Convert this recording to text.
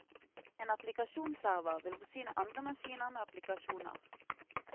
En applikasjonsserver vil forsyne andre maskiner med applikasjoner.